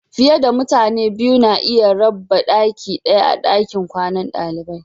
Fiyar da mutane biyu na iya rabba daki daya a'dakin kwanan dalibai.